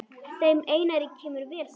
Þeim Einari kemur vel saman.